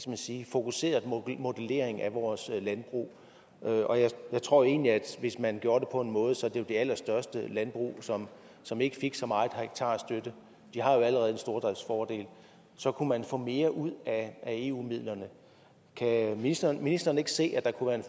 man sige fokuseret modellering af vores landbrug jeg tror egentlig at hvis man gjorde det på den måde så det var de allerstørste landbrug som som ikke fik så meget hektarstøtte de har jo allerede en stordriftsfordel så kunne man få mere ud af eu midlerne kan ministeren ministeren ikke se at der kunne